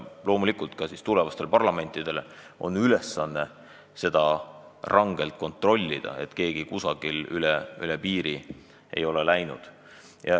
Loomulikult peavad tulevased parlamendikoosseisud rangelt kontrollima, ega keegi kusagil üle piiri ei ole läinud.